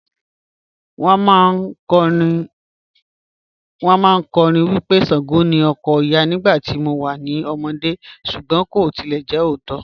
Wọn màáń kọ́rìn wí pé Ṣàngó ni ọkọ̀ Ọya nígbà tí mò wà ní ọmọdé̀ súgbọn kò tilẹ̀ jẹ ọ̀ótó.